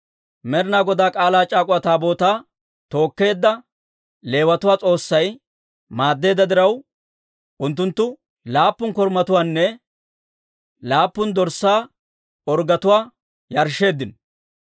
Med'inaa Godaa K'aalaa c'aak'uwa Taabootaa tookkeedda Leewatuwaa S'oossay maaddeedda diraw, unttunttu laappun korumatuwaanne laappun dorssaa orggetuwaa yarshsheeddino.